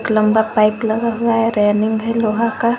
एक लंबा पाइप हुआ है रैलिंग है लोहा का।